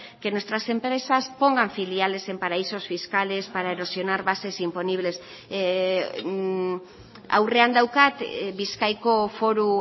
que nuestras empresas pongan filiales en paraísos fiscales para erosionar bases imponibles aurrean daukat bizkaiko foru